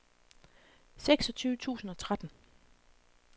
seksogtyve tusind og tretten